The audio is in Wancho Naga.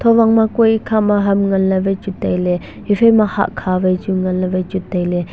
owang ma kue ekhama ham nganley wai chu tailey ephaima hahkha wai chu nganley tailey.